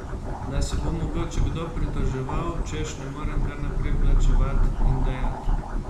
Da se bo mogoče kdo pritoževal, češ ne morem kar naprej plačevat in dajat.